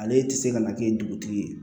Ale tɛ se ka na kɛ dugutigi ye